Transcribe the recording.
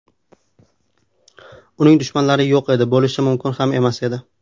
Uning dushmanlari yo‘q edi, bo‘lishi mumkin ham emas edi.